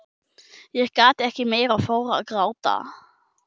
Ég gat ekki meir og fór að gráta.